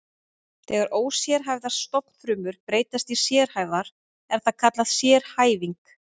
Þegar ósérhæfðar stofnfrumur breytast í sérhæfðar er það kallað sérhæfing.